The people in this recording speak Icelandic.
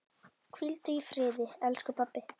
Hvíldu í friði elsku pabbi.